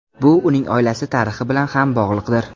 Bu uning oilasi tarixi bilan ham bog‘liqdir.